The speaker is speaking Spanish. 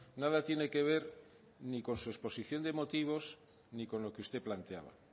nada tiene que ver ni con su exposición de motivos ni con lo que usted planteaba